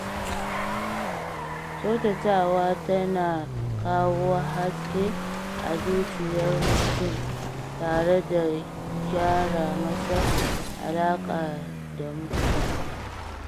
Kkyautatawa tana kawo haske a zuciyar mutum tare da gyara masa alaka da mutane.